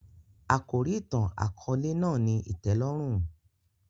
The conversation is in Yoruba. Àkòrí ìtàn-àkóòlè náà ni ìtẹ́lórùn